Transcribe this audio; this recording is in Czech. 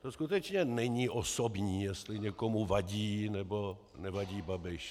To skutečně není osobní, jestli někomu vadí, nebo nevadí Babiš.